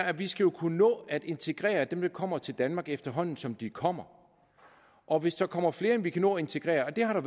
at vi skal kunne nå at integrere dem der kommer til danmark efterhånden som de kommer og hvis der kommer flere end vi kan nå at integrere og det har